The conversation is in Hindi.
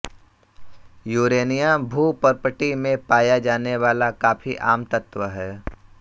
यूरेनियम भूपर्पटी में पाया जाने वाला काफी आम तत्व है